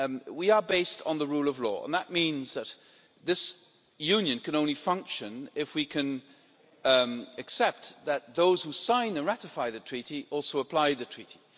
We are based on the rule of law and that means that this Union can only function if we can accept that those who sign and ratify the Treaty also apply the Treaty.